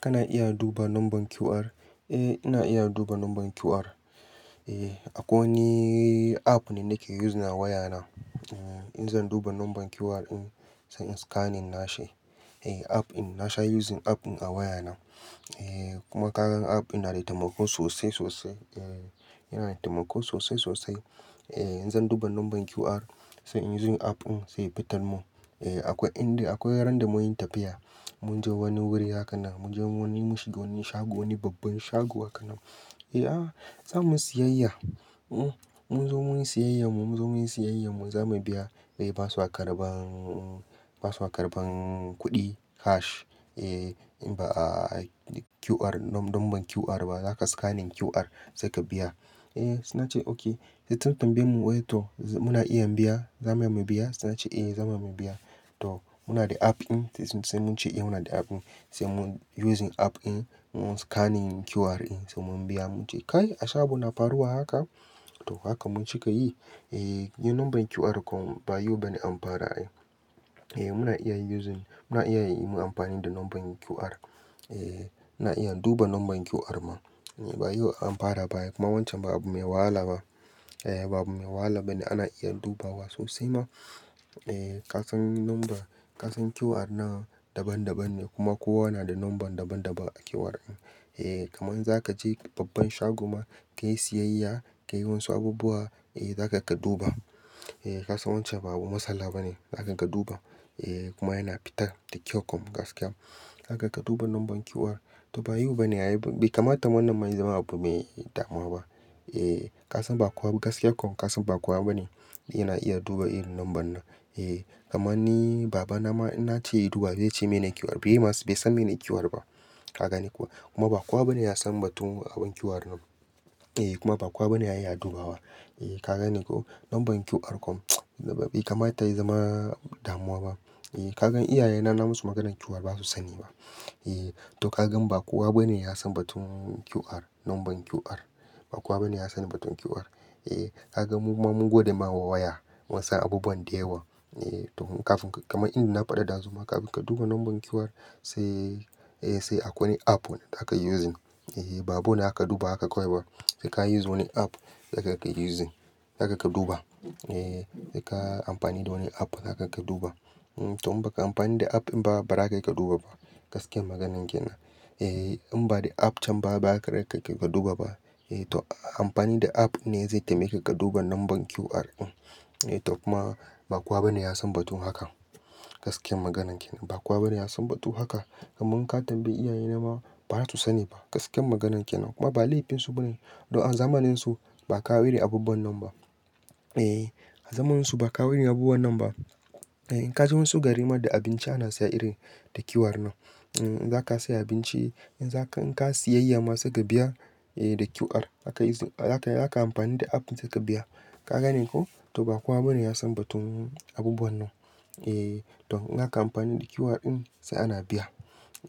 Kana iya duba numban QR? Eh ina iya duba numban QR. Eh akwai wani app ne nake using a waya na. In zan duba numban QR in sai in scanning nashi. Eh app in na sha using app in a waya na. Eh kuma kagan app in na da taimako sosai sosai. Eh yana da taimako sosai sosai. Eh in zan duba numban QR sai in using app in zai fitan mun. Eh akwai inda-- akwai ran da mun yi tafiya, mun je wani wuri haka na, mun je wani mushi-- wani shago, wani babban shago haka nam. Eh ah za mun siyayya, uh mun zo mun yi siyayya mu mun zo mun yi siyayyar mu, za mu biya. Eh ba su a karban, ba su a karban kuɗi cash. Eh in ba QR, numban QR ba zaka scanning QR sai ka biya. Eh suna ce okay, sun tambaye mu wai to muna iya biya? Za mu iya mu biya? Suna ce eh za mu ma biya. To muna da app in sai mun ce eh muna da app in. Sai mun using app in mun scane QR in sai mun biya mun je. Kai a shago na faruwa haka to haka mun cika yi. Eh yin numban QR kom bai yiwu bane an fara ai. Eh muna iya using, muna iya yin amfani da numban QR. Eh ina iya duba numban QR man. Bai yiwu an fara ba kuma wancan babu mai wahala ba. Eh ba abu mai wahala bane ana iya dubawa sosai ma. Eh kasan numban, kasan QR na daban daban ne kuma kowa na da numban daban daban a QR in. Eh kaman zaka je babban shago ma ka yi siyayya, ka yi wani su abubuwa, eh za kaga duba. Eh kasan wancan babu matsala bane, za kaga duba. Eh kuma yana fita da kyau kom gaskiya. Zaka ka duba numban QR to ba yau bane a yi, bai kama ta wabban ma ya zama abu mai damuwa ba. Eh kasan ba kowa gaskiya kom kasan ba kowa bane yana iya duba irin numban nan. Eh kamar ni baba na ma ina ce yi duba zai ce me ne QR? Bai ma-- bai san mene QR ba. Ka gane ko? Kuma ba kowa bane ya san batun abin QR nan. Eh kuma ba kowa bane ya iya dubawa. Eh kaga ne ko? Numban QR kom bai kama ta yi zama damuwa ba. Eh kagan iyaye na na musu maganar QR ba su sani ba. Eh to kagan ba kowa bane ya san batun QR, numban QR. Ba kowa bane ya san batun QR. Eh kaga mu ma mun gode ma waya mun sa abubuwan dayawa. Eh to kafin ka-- kamar indina faɗa ɗazu ma kafin ka duba numban QR sai, eh sai akwai app wanda za ka yuuzin. Eh babu bane aka duba haka kawai ba. Sai ka use wani app, sai kaga ka yuuzin, za kaga duba. Eh sai ka amfani da wani app, za kaga duba. To in ba ka amfani da app in ba, ba za ka duba ba gaskiyar maganar ke nan. Eh in ba da app can ba, ba za ka duba ba. Eh to amfani da app ne zai taimyaka ka duba numban QR in. Eh to kuma ba kowa bane ya san batun haka gaskiyar maganan ke nan. Ba kowa bane ya san batu haka. Kaman ka tambayi iyaye na ma ba za su sani ba gaskiyar maganan ke nan. Kuma ba laifin su bane don zamannin su ba ka wiri abubuwan nan ba. Eh a zamanin su ba ka wiri abubuwan nan ba. Eh ka je mun su garima da abinci ana saya iri da QR nan. In za ka sayi abinci, in za ka, in ka siyayya masu ka biya eh da QR aka yi, za ka, za ka amfani da app in za ka biya. Ka gane ko? To ba kowa bane ya san batun abubuwan nan. Eh to in aka amfani da QR in sai ana biya.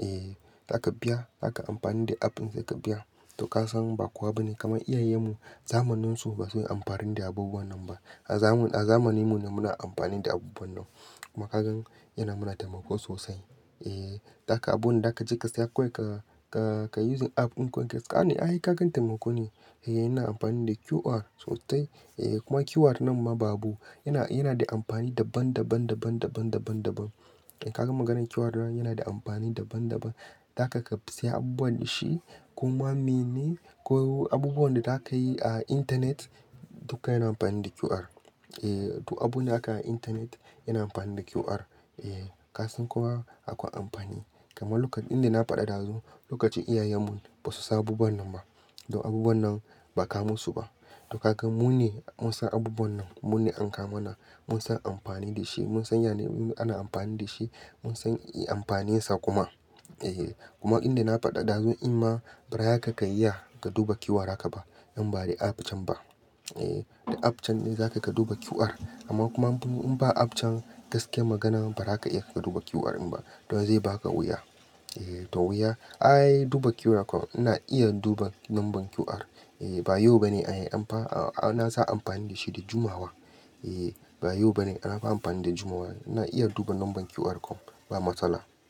Eh za ka biya, za ka amfani da app in sai ka biya. To kasan ba kowa bane, kamar iyayen mu zamanin su ba su yi amfani da abubuwan nan ba. A zamu-- a zamanin mu ne muna amfani da abubuwan nan. Kuma kagan yana mana taimako sosai. Eh zaka abu na daka je ka saya kawai ka, ka, ka using app in kawai ka scane. Ai kakan taimako ne. Eh yana amfani da QR sosai. Eh kuma QR nan ma ba abu, yana, yana da amfani daban, daban, daban, daban, daban, daban. In ka gan maganar QR yana da amfani daban daban. Zaka ka siya abubuwan da shi kuma mene ko abubuwan da za ka yi a intanet duka yana amfani da QR. Eh to abune aka intanet yana amfani da QR. Eh kasan kuma akwai amfani. Kaman lokacin indina faɗa ɗazu, lokacin iyayen mu ba su sa abubuwan nan ba. Don abubuwan nan ba ka musu ba. To kagan mu ne mun sa abubuwan nan kuma mu ne an ka mana. Mun san amfani da shi, mun san yana-- ana amfani da shi, mun san iya amfani sa kuma. Eh kuma indina faɗa ɗazu in ma bari haka ka iya ka duba QR haka ba in ba da app can ba. Eh da app can ne za ka duba QR. Amma kuma in ba app can gaskiyar magana ba za ka iya ka duba QR in ba. Don zai ba ka wuya. Eh to wuya, ai duba QR kom ina iya duba numban QR. Eh bai yiwu bane a yi amfa-- a, a na sa amfani da shi da jumawa. Eh ba yau bane, ana amfani da jumawa. Ina iya duba numban QR kom, ba matsala.